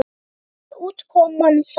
Hver var útkoman þar?